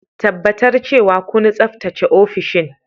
Tabbatar cewa kun tsaftace ofishin.